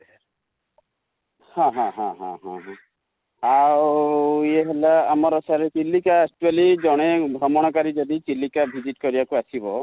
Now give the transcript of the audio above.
ହଁ ହଁ ହଁ ଆଉ sir ଆମର ଚିଲିକା actually ଜଣେ ଭ୍ରମଣକାରୀ ଚିଲିକା visit କରି ଆସିବାକୁ ଆସିବ